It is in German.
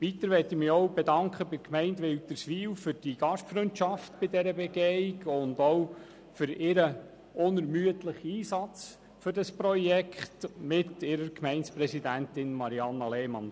Weiter bedanke ich mich auch bei der Gemeinde Wilderswil für die Gastfreundschaft während der Begehung sowie für ihren unermüdlichen Einsatz für dieses Projekt unter ihrer Gemeindepräsidentin Marianna Lehmann.